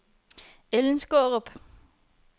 Ellen Skaarup